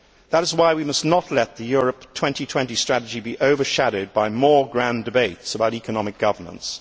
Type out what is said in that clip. that is why we must not let the Europe 2020 strategy be overshadowed by more grand debates about economic governance.